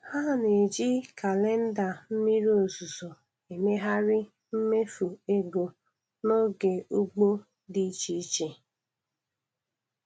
Ha na-eji kalenda mmiri ozuzo emegharị mmefu ego n’oge ugbo di iche iche.